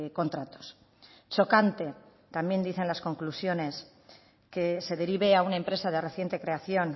contratos chocante también dicen las conclusiones que se derive a una empresa de reciente creación